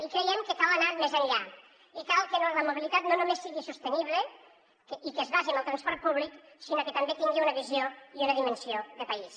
i creiem que cal anar més enllà i cal que la mobilitat no només sigui sostenible i que es basi en el transport públic sinó que també tingui una visió i una dimensió de país